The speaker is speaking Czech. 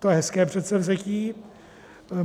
To je hezké předsevzetí.